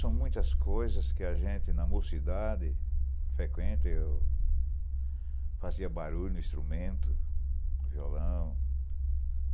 São muitas coisas que a gente, na mocidade frequenta, e eu fazia barulho no instrumento, no violão.